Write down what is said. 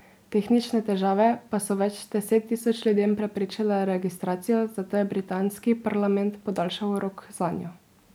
Tehnične težave pa so več deset tisoč ljudem preprečile registracijo, zato je britanski parlament podaljšal rok zanjo.